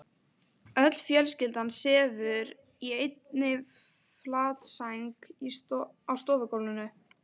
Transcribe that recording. Öll fjölskyldan sefur í einni flatsæng á stofugólfinu.